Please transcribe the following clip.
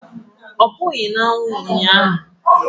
Ọ pụghị na anwụ ụnyaahụ